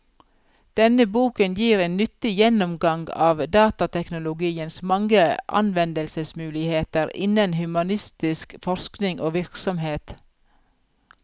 Denne boken gir en nyttig gjennomgang av datateknologiens mange anvendelsesmuligheter innen humanistisk forskning og virksomhet.